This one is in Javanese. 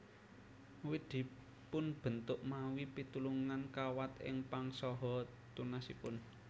Wit dipunbentuk mawi pitulungan kawat ing pang saha tunasipun